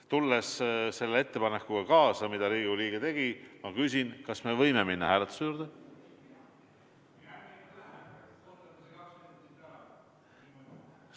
Tulles kaasa selle ettepanekuga, mille Riigikogu liige tegi, ma küsin: kas me võime minna hääletuse juurde?